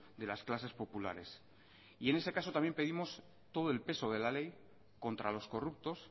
de las clases populares y en ese caso también pedimos todo el peso de la ley contra los corruptos